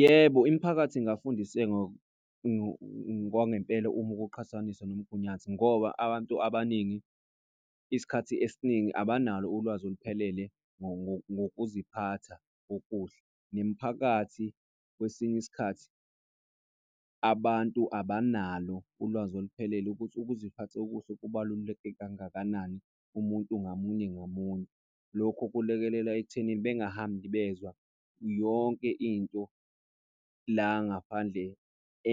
Yebo, imiphakathi ingafundiseka ngokwangempela uma kuqhathaniswa ngomgunyathi ngoba abantu abaningi isikhathi esiningi abanalo ulwazi oluphelele ngokuziphatha okuhle. Nemiphakathi, kwesinye isikhathi abantu abanalo ulwazi oluphelele ukuthi ukuziphatha okuhle kubaluleke kangakanani umuntu ngamunye ngamunye. Lokhu kulekelela ekuthenini bengahambi bezwa yonke into la ngaphandle